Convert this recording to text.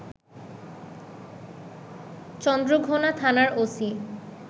চন্দ্রঘোনা থানার ওসি